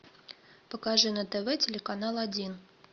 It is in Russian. покажи на тв телеканал один